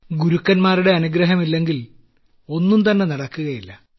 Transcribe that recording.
പ്രധാനമന്ത്രി ഗുരുക്കന്മാരുടെ അനുഗ്രഹമില്ലെങ്കിൽ ഒന്നുംതന്നെ നടക്കുകയില്ല